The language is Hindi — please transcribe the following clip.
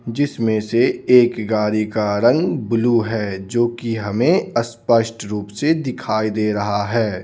जिसमें से एक गाड़ी का रंग ब्लू है जो कि हमें अस्पष्ट रूप से दिखाई दे रहा है.